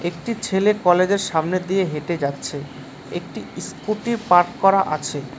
একটি ছেলে কলেজের সামনে দিয়ে হেঁটে যাচ্ছে একটি ইসকুটি পার্ক করা আছে।